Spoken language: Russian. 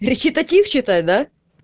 речитатив читать да